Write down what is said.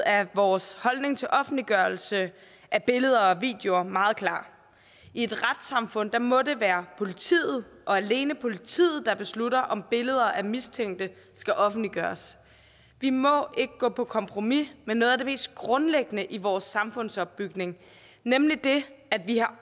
er vores holdning til offentliggørelse af billeder og videoer meget klar i et retssamfund må det være politiet og alene politiet der beslutter om billeder af mistænkte skal offentliggøres vi må ikke gå på kompromis med noget af det mest grundlæggende i vores samfundsopbygning nemlig at vi har